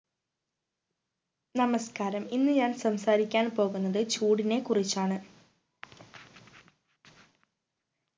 നമസ്‌കാരം ഇന്ന് ഞാൻ സംസാരിക്കാൻ പോകുന്നത് ചൂടിനെ കുറിച്ചാണ്